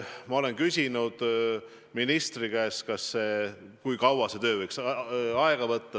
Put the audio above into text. Ma olen ministri käest küsinud, kui kaua see töö võiks aega võtta.